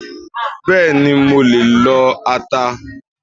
Bẹ́ẹ̀ni, mo lè lo ata